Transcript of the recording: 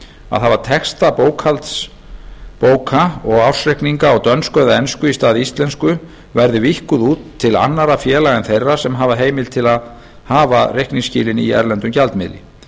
að hafa texta bókhaldsbóka og ársreikninga á dönsku eða ensku í stað íslensku verði víkkuð út til annarra félaga en þeirra sem hafa heimild til að hafa reikningsskilin í erlendum gjaldmiðli